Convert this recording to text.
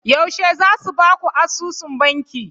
Yaushe za su ba ku asusun banki?